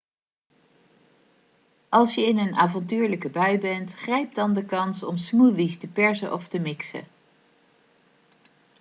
als je in een avontuurlijke bui bent grijp dan de kans om smoothies te persen of te mixen